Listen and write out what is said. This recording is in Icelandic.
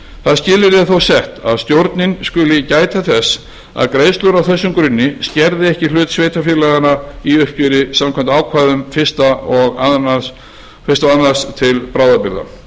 það skilyrði er þó sett að stjórnin skuli gæta þess að greiðslur á þessum grunni skerði ekki hlut sveitarfélaganna í uppgjöri samkvæmt ákvæðum fyrstu og tvö til bráðabirgða